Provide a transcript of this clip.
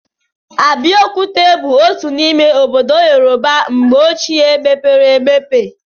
Abeokuta bụ otu n'ime obodo Yorùbá mgbe ọchịe mepere emepe.